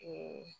Ee